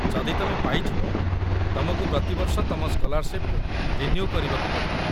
ଯଦି ତମେ ପାଇଯିବ, ତମକୁ ପ୍ରତିବର୍ଷ ତମ ସ୍କଲାର୍‌ସିପ୍‌ ରିନ୍ୟୁ କରିବାକୁ ପଡ଼ିବ